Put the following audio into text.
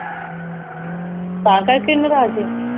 ਤਾਂ ਕਰਕੇ ਨਾਰਾਜ ਆ